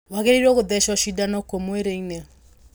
Waagĩrĩiruo gũthecwo cindano kũ mwĩrĩ-inĩ?